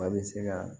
A bɛ se ka